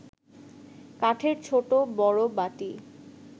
কাঠের ছোট বড় বাটি